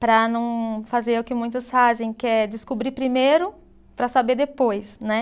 para não fazer o que muitos fazem, que é descobrir primeiro para saber depois, né?